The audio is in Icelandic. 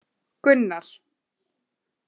Gunnar